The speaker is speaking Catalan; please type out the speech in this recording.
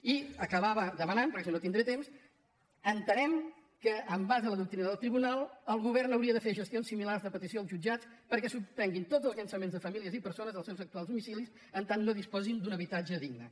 i acabava demanant perquè si no no tindré temps entenem que en base a la doctrina del tribunal el govern hauria de fer gestions similars de petició als jutjats perquè es suspenguin tots els llançaments de famílies i persones dels seus actuals domicilis en tant que no disposin d’un habitatge digne